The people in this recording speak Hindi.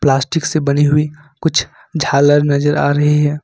प्लास्टिक से बनी हुई कुछ झालर नजर आ रही है।